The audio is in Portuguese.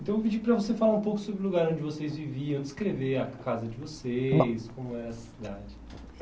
Então eu pedi para você falar um pouco sobre o lugar onde vocês viviam, descrever a casa de vocês, como era a cidade. Bom,